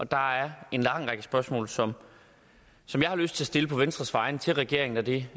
der er en lang række spørgsmål som som jeg har lyst til at stille på venstres vegne til regeringen og det